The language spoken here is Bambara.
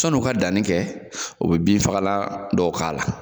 Sɔn'u ka danni kɛ o be bin fagalan dɔw k'a la